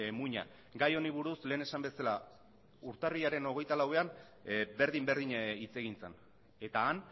muina gai honi buruz lehen esan bezala urtarrilaren hogeita lauean berdin berdina hitz egin zen eta han